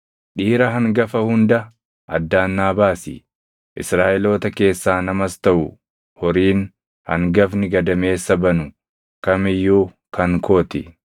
“Dhiira hangafa hunda addaan naa baasi; Israaʼeloota keessaa namas taʼu horiin hangafni gadameessa banu kam iyyuu kan koo ti.”